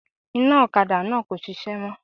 Iná òkadá náà kò sisé mó